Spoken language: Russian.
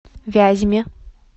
вязьме